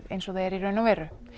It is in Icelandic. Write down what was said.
eins og það er í raun og veru